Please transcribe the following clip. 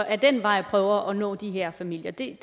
ad den vej prøver at nå de her familier det